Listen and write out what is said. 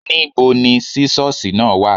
Níbo ni sísọ́sì náà wà.?